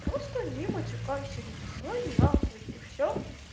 просто не матюкайся не посылай нахуй и всё